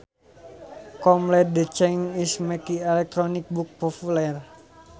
com led the charge in making electronic books popular